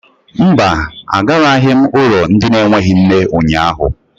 Mba, agaraghị m ụlọ ndị na-enweghị nne ụnyahụ.